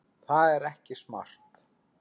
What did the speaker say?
Það er ekki smart.